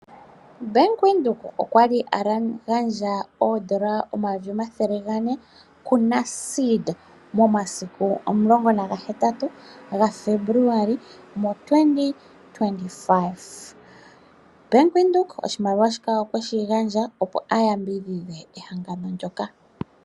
Bank Windhoek okwa li agandja N$400000 kuNASFED momasiku 18 Febuluali 2025. Bank Windhoek okwa gandja oshimaliwa shika opo shi yambidhidhe ehangano ndyoka.